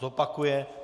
Zopakuje.